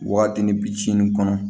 Waatini bi kɔnɔ